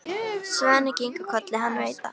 Svenni kinkar kolli, hann veit það.